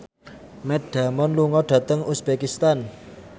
Matt Damon lunga dhateng uzbekistan